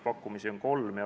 Pakkumisi on kolm.